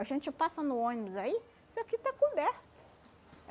A gente passa no ônibus aí, isso aqui está coberto.